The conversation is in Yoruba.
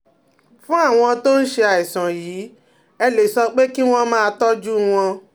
Fún àwọn tó ń ṣe àìsàn yìí, ẹ lè sọ pé kí wọ́n máa tọ́jú wọn